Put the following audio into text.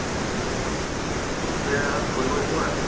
এতিয়া ফুৰিব যোৱা নাই।